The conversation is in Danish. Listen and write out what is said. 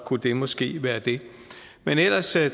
kunne det måske være det men ellers